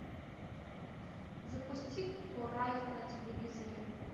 запусти курай на телевизоре